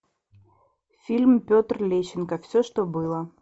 фильм петр лещенко все что было